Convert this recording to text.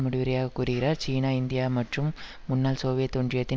முடிவுரையாக கூறுகிறார் சீனா இந்தியா மற்றும் முன்னாள் சோவியத் ஒன்றியத்தின்